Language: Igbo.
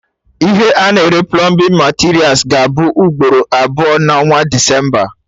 Ihe a na-ere plọmbin materials ga-abụ ugboro abụọ na onwa Desemba